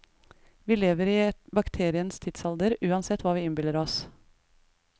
Vi lever i bakterienes tidsalder, uansett hva vi innbiller oss.